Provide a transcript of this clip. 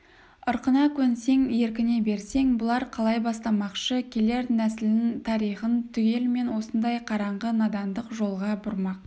ырқына көнсең еркіне берсең бұлар қалай бастамақшы келер нәсілін тарихын түгелімен осындай қараңғы надандық жолға бұрмақ